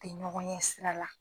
A ye ɲɔgɔn ye sira la.